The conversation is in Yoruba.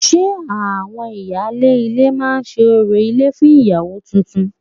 Ṣe àwọn ìyáálé ilé máa ṣe orò ilé fún ìyàwó tuntun?